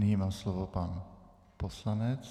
Nyní má slovo pan poslanec.